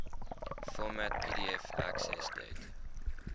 format pdf accessdate